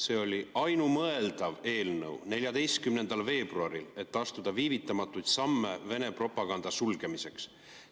See oli ainumõeldav eelnõu 14. veebruaril, et astuda viivitamatuid samme Vene propaganda sulgemiseks.